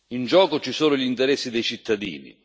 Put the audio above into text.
In gioco ci sono gli interessi dei cittadini.